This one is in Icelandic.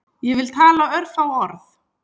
Ég vil tala örfá orð